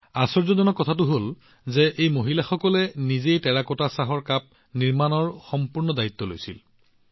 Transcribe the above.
আশ্চৰ্যজনক কথাটো হল যে এই মহিলাসকলে নিজেই টেৰাকোটা চাহ কাপ বনোৱাৰ সম্পূৰ্ণ দায়িত্ব গ্ৰহণ কৰিছিল